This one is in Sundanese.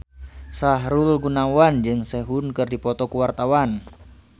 Sahrul Gunawan jeung Sehun keur dipoto ku wartawan